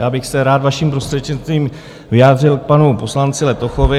Já bych se rád vaším prostřednictvím vyjádřil k panu poslanci Letochovi.